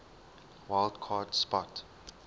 wild card spot